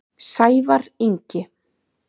Sævar Ingi.